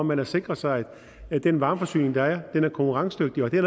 man har sikret sig at den varmeforsyning der er er konkurrencedygtig og det er